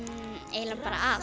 eiginlega bara